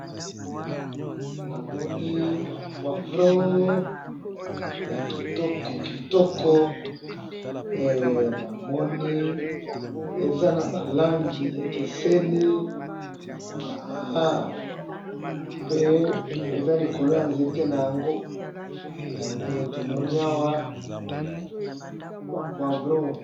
Na ba pilipili na nzete na ngo ya ba langi ekabwani.